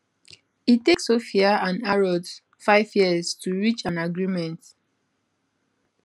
e take sophia and harrods five years to reach an agreement